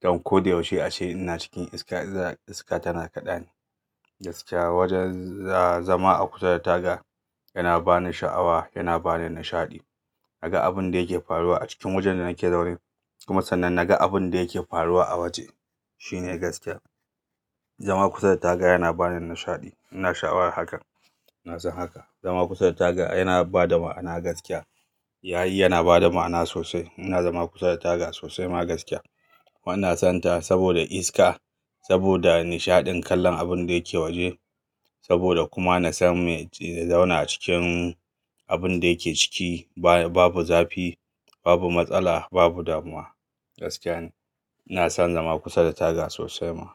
don ko da yaushe a ce ina cikin iska, iska tana kaɗa ni gaskiya. Wajen zama a kusa da taga yana bani sha'awa, yana bani nishaɗi. Naga abun da yake faruwa a cikin wajen da nake zaune, kuma sannan naga abun da yake faruwa a waje. Shi ne gaskiya. Zama kusa da taga yana bani nishaɗi. Ina sha'awar hakan. Ina son haka. Zama kusa da taga ai yana ba da ma'ana gaskiya. Yayi yana ba da ma'ana sosai. Ina zama kusa da taga sosai ma gaskiya. Ina sonta saboda iska, saboda nishaɗin kallon abun da yake waje, saboda kuma na san me zauna cikin abun da yake ciki babu zafi, babu matsala, babu damuwa gaskiya ne. Ina son zama kusa da taga sosai ma.